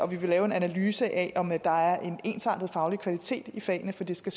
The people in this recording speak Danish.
vi vil lave en analyse af om der er en ensartet faglig kvalitet i fagene for det skal